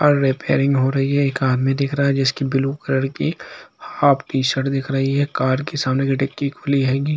Car repairing हो रही है यहाँ एक आदमी दिख रहा है की ब्लू कलर हाफ टी-शर्ट दिख रही है कार के सामने की डिक्की खुली हेगी।